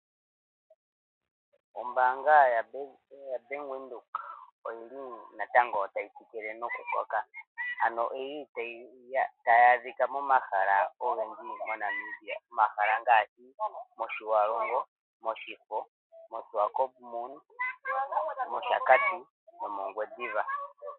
Ombaanga ya Bank Widhoek oyili natango tayi tsikile noku koka, ano yili tayi adhika momahala ogendji moNamibia. Momahala ngaashi, mOshiwarongo, mOshifo, mOshiwakopo, mOshakati nomoNgwediva.